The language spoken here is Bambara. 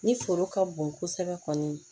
Ni foro ka bon kosɛbɛ kɔni